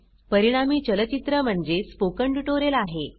परिणामी चलचित्र म्हणजे स्पोकन ट्युटोरियल आहे